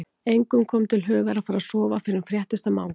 Engum kom til hugar að fara að sofa fyrr en fréttist af Manga.